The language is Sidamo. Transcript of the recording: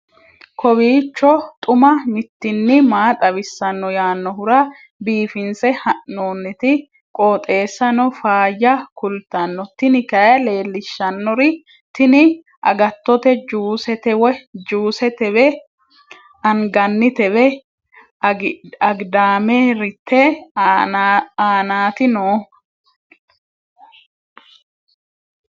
kowiicho xuma mtini maa xawissanno yaannohura biifinse haa'noonniti qooxeessano faayya kultanno tini kayi leellishshannori tini agattote jusetewe anganitewe agidaamerte aanaati noohu